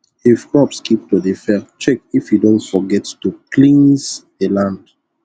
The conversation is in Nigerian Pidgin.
if crops keep to dey fail check if you don forget to cleanse the land